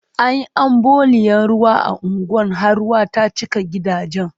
An yi ambaliyan ruwa a unguwan har ruwa ta cika gidajen.